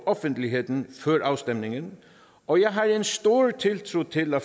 offentligheden før afstemningen og jeg har en stor tiltro til at